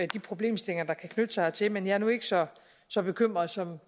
de problemstillinger der kan knytte sig hertil men jeg er nu ikke så så bekymret som